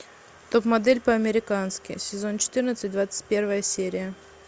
топ модель по американски сезон четырнадцать двадцать первая серия